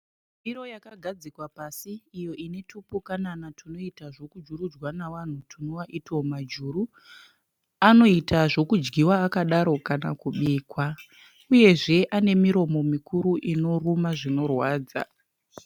Ndiro yakagadzikwa pasi iyo ine tupukanana tunoita zvekujurujwa nevanhu, tunova ito majuru. Anoita zvekudyiwa akadaro kana kubikwa. Uyezve ane miromo mikuru inoruma zvinorwadza.